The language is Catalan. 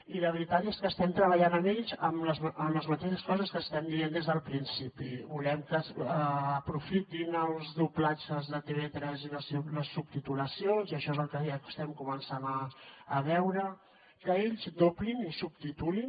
i la veritat és que estem treballant amb ells en les mateixes coses que estem dient des del principi volem que aprofitin els doblatges de tv3 i les subtitulacions i això és el que ja estem començant a veure que ells doblin i subtitulin